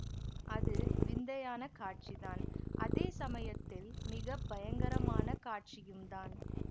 அது விந்தையான காட்சிதான் அதே சமயத்தில் மிக பயங்கரமான காட்சியும்தான்